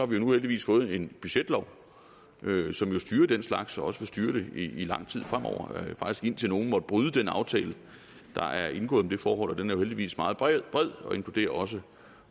vi nu heldigvis fået en budgetlov som styrer den slags og også vil styre det i lang tid fremover faktisk indtil nogen måtte bryde den aftale der er indgået om det forhold og den er jo heldigvis meget bred og inkluderer også